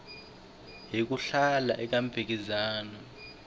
hi ku hlula eka mphikizano